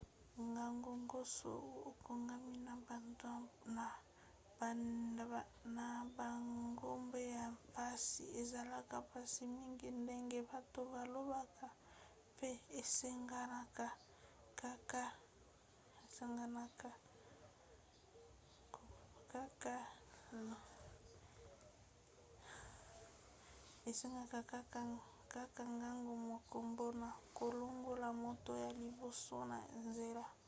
ngonga nyonso oyo okangami na bangomba ya mpasi ezalaka mpasi mingi ndenge bato balobaka pe esengaki kaka ngonga moko mpona kolongola moto ya liboso na nzela.